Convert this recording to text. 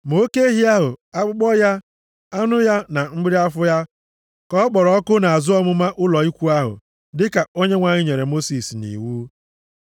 Ma oke ehi ahụ, akpụkpọ ya, anụ ya na mgbịrị afọ ya, ka ọ kpọrọ ọkụ nʼazụ ọmụma ụlọ ikwu ahụ dịka Onyenwe anyị nyere Mosis nʼiwu.